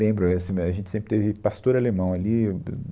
Lembro, assim, a gente sempre teve pastor alemão ali